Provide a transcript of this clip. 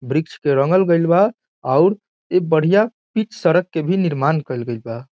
वृक्ष के रंगल गइल बा और इ बढ़िया पीच सड़क के भी निर्माण कईल गइल बा |